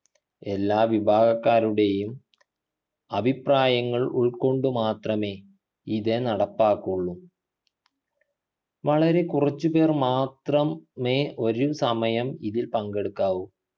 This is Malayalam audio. എല്ലാ വിഭാഗക്കാരുടെയും അഭിപ്രായങ്ങൾ ഉൾക്കൊണ്ടു മാത്രമേ ഇത് നടപ്പാക്കുള്ളൂ വളരെ കുറച്ചു പേർ മാത്രം മേ ഒരു സമയം ഇതിൽ പങ്കെടുക്കാവു